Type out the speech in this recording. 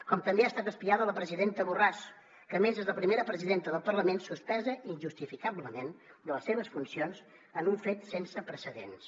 com també ha estat espiada a la presidenta borràs que a més és la primera presidenta del parlament suspesa injustificablement de les seves funcions en un fet sense precedents